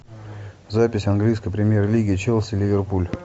запись английской премьер лиги челси ливерпуль